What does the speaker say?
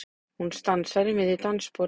Hún stansar í miðju dansspori.